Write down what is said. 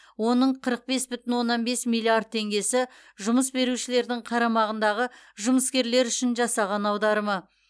оның қырық бес бүтін оннан бес миллиард теңгесі жұмыс берушілердің қарамағындағы жұмыскерлер үшін жасаған аударымы